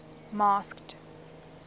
masked